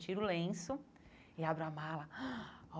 Tiro o lenço e abro a mala.